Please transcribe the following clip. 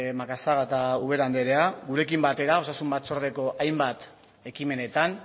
macazaga eta ubera anderea gurekin batera osasun batzordeko hainbat ekimenetan